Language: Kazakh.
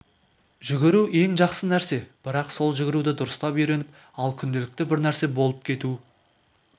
жүгіру ең жақсы нәрсе бірақ сол жүгіруді дұрыстап үйреніп ап күнделікті бір нәрсе болып кету